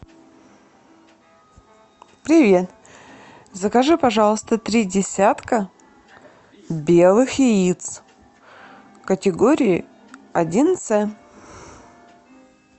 привет закажи пожалуйста три десятка белых яиц категории один цэ